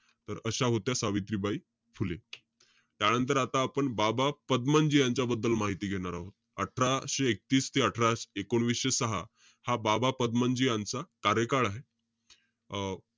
तर अशा होत्या सावित्रीबाई फुले. त्यानंतर, आता आपण बाबा पदमनजी यांच्या बद्दल माहिती घेणार आहोत. अठराशे एकतीस ते अठराशे एकोणीशे सहा, हा बाबा पदमनजी यांचा कार्यकाळ आहे. अं